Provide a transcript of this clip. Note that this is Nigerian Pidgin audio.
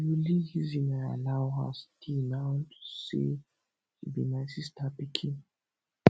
the only reason i allow her stay na unto say she be my sister pikin